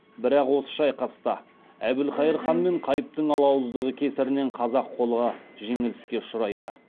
бірақ осы шайқаста әбілхайыр хан мен қайыптың алауыздығы кесірінен қазақ қолы жеңіліске ұшырайды